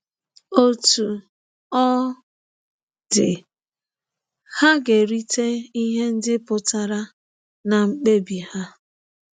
Otú ọ dị, ha ga-erite ihe ndị pụtara n’mkpebi ha.